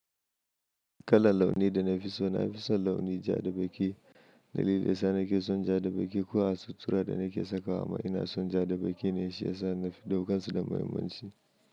Kalar launi da na fi so, na fi son launi ja da baƙi. Dalilin sa nake son ja da baƙi ko a sutura da nake sakawa ma ina son ja da baƙi ne shiyasa na fi ɗaukansu da muhimmanci.